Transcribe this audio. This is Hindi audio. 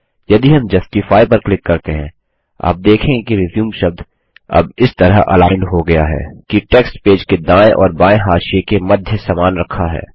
यदि हम जस्टिफाई पर क्लिक करते हैं आप देखेंगे कि रिज्यूम शब्द अब इस तरह अलाइंड हो गया है कि टेक्स्ट पेज के दायें और बायें हाशिये के मध्य समान रखा है